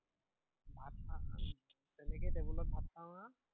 ভাত খাওঁ, আহ তেনেকেই টেবুলত ভাত খাওঁ আৰু